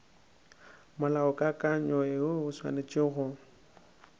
molaokakanywa woo o swanetše go